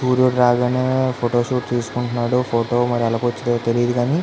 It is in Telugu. సూర్యుడు రాగానే ఫోటో షూట్ తీసుకుంటున్నాడు ఫోటో మరి ఎలా వచ్చిందో తెలియదు గానీ --